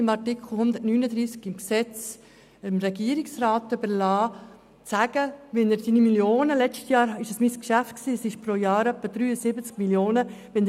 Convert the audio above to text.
Mit Artikel 139 SpVG wird es bewusst dem Regierungsrat überlassen, zu sagen, wie er pro Jahr rund 73 Mio. Franken einsetzen will.